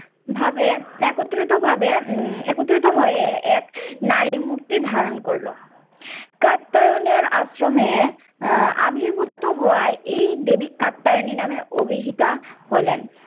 ভাবে, একত্রিতভাবে উম একত্রিত হয়ে এক নারী মূর্তি ধারণ করল। কাত্তায়নের আশ্রমে আহ আবির্ভূত হওয়া এই দেবী কাত্তায়নী নামে অভিহিতা হলেন।